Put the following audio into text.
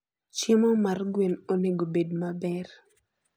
Chiemo mar gwen onego obed maber.